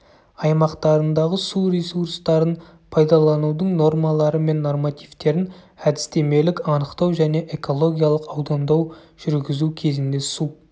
аймақтарындағы су ресурстарын пайдаланудың нормалары мен нормативтерін әдістемелік анықтау және экологиялық аудандау жүргізу кезінде су